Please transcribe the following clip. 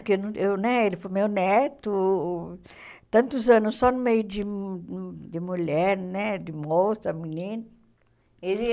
Porque não eu né ele foi meu neto tantos anos só no meio de de mulher, né de moça, menina. Ele